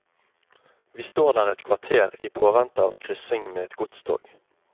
Vi står der et kvarter i påvente av kryssing med et godstog.